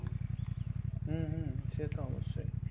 হম হম সে তো অবশ্যই